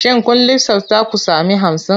Shin kun lissafta ku sami hamsin?